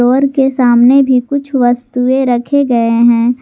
और इसके सामने भी कुछ वस्तुएं रखे गए हैं।